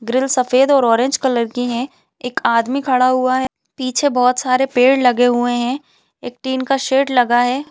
Grill सफ़ेद और orange colour की है एक आदमी खड़ा हुआ है पीछे बहुत सारे पेड़ लगे हुए है एक टिन का शेड लगा हैं ।